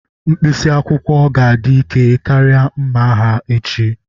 Mkpịsị akwụkwọ ga-adị ike karịa mma agha echi.